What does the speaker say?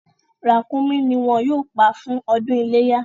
Ràkúnmí ni wọ́n yóò pa fún ọdún iléyá.